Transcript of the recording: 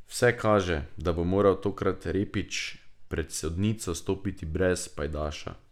Vse kaže, da bo moral tokrat Repić pred sodnico stopiti brez pajdaša.